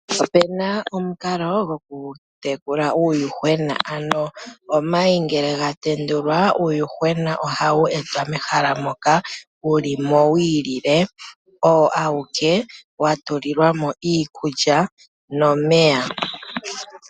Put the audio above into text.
Opuna omukalo gokutekula uuyuhwena, ano omayi ngele gatendulwa uuyuhwena ohawu etwa mehala moka wuli wiikalekelwa owo awuke, wa tulilwa mo iikulya nomeya.